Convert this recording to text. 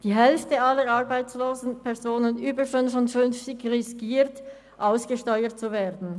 Die Hälfte aller arbeitslosen Personen über 55 Jahren riskieren, ausgesteuert zu werden.